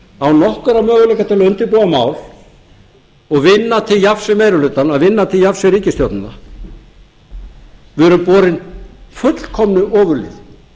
nokkurra möguleika til að undirbúa mál og vinna til jafns við meiri hlutann vinna til jafns við ríkisstjórnina við erum borin fullkomnu ofurliði